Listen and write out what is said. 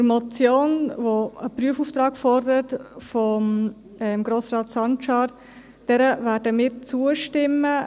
Der Motion von Grossrat Sancar , die einen Prüfungsauftrag fordert, werden wir zustimmen.